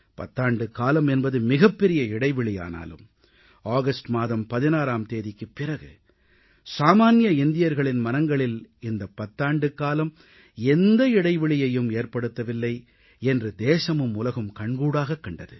புத்தாண்டுகாலம் என்பது மிகப்பெரிய இடைவெளியானாலும் ஆகஸ்ட் மாதம் 16ஆம் தேதிக்குப் பிறகு சாமான்ய இந்தியர்களின் மனங்களில் இந்தப் பத்தாண்டு காலம் எந்த இடைவெளியையும் ஏற்படுத்தவில்லை என்று தேசமும் உலகும் கண்கூடாகக் கண்டது